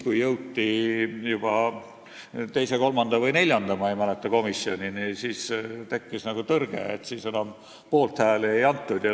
Kui jõuti juba teise, kolmanda või neljanda, ma ei mäleta täpselt, mitmenda komisjonini, siis tekkis nagu tõrge ja enam poolthääli ei antud.